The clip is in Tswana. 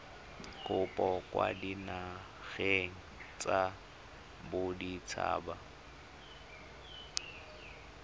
kopo kwa dinageng tsa baditshaba